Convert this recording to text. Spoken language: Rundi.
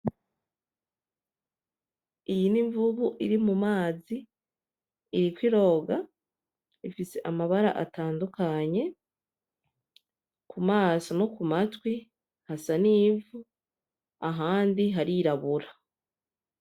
Iyi n’imvubu iri mu mazi iriko iroga ifise amabara atandukanye, ku maso no ku matwi hasa n’ivu ahandi harirabura.